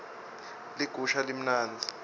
ligusha limnandzi